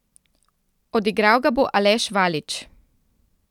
Odigral ga bo Aleš Valič.